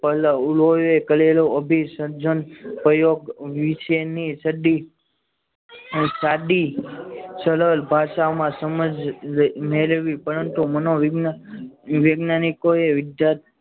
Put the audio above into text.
પલ્લવ ઉલો એ ખ કરેલો અભિષદ પ્રયોગ વિશેની ચડ્ડી સાદી સરળ ભાષામાં સમજ મેળવી પરંતુ મનોવિજ્ઞાન વૈજ્ઞાનિકોએ